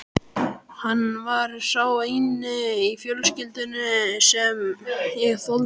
Hann var sá eini í fjölskyldunni sem ég þoldi.